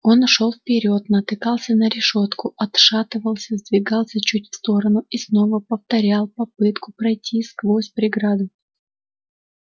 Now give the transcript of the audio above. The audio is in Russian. он шёл вперёд натыкался на решётку отшатывался сдвигался чуть в сторону и снова повторял попытку пройти сквозь преграду